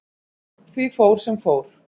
Því fór, sem fór.